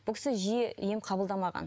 бұл кісі жиі ем қабылдамаған